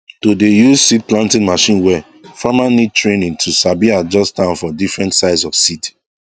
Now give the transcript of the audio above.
to dey use seed planting machine well farmer need training to sabi adjust am for different size of seed